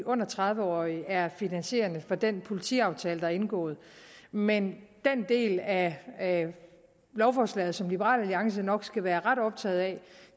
under tredive år er finansierende for den politiaftale der er indgået men den del af af lovforslaget som liberal alliance nok skal være ret optaget af